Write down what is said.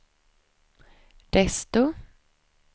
desto